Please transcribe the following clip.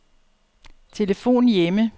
telefon hjemme